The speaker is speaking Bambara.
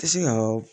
Tɛ se ka